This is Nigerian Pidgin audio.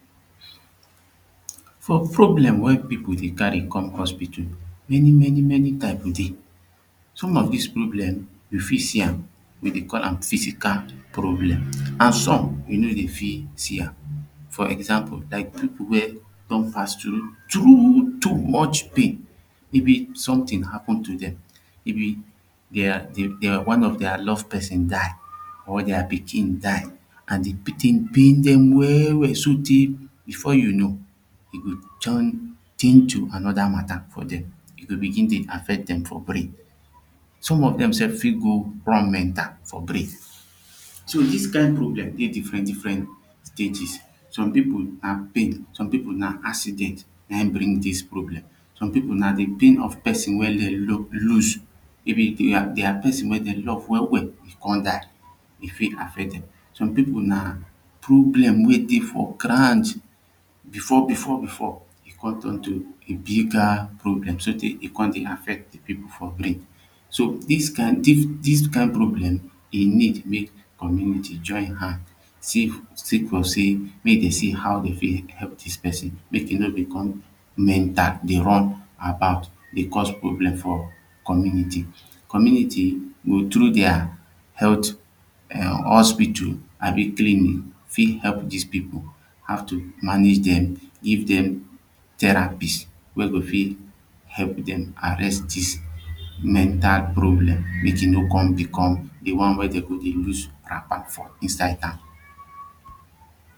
some problems wey people dey carry come hospital many many type dey some of these problems we fit see am we dey call am physical problems an some we no dey fit see am for example like people wey don pass through too much pain even if something happen to them if e therewere of their love person die or their pikin die an the thing been pain them well well so tey before you know e go join change to another mata for them e go begin dey affect them for brain some of them sef fit go run mental for grave so this kind problem get diffrent diffrent stages. some people na pain, some people na accident na him bring this problem. some people na dey think of person wey dem lose maybe their person wey dem love well well e come die. e fit affet them. some people na problem wey dey for ground before before before e come turn to a bigger problem so tey e come dey affect people for brain. so this kind this kind problem e need make community join hand saf sake of sey make dem see how dem fit help this person make e no become mental dey run about dey cause problem for community. community go through their health hospital abi clinic fit help these people. have to manage them give them therapist wey go fit help them arrest this mental problem make e no come become the one wey dem go dey lose wrapper for inside town